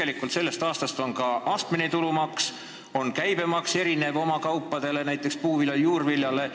Seal kehtib sellest aastast ka astmeline tulumaks ning käibemaks on teatud kaupade, näiteks puuvilja ja juurvilja puhul madalam.